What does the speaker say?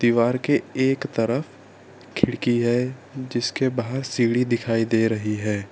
द्वार के एक तरफ खिड़की है जिसके बाहर सीढ़ी दिखाई दे रही है।